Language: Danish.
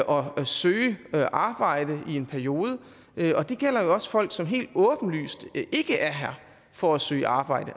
og søge arbejde i en periode og det gælder jo også folk som helt åbenlyst ikke er her for at søge arbejde